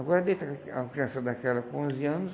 Agora deixa a uma criança daquela com onze anos,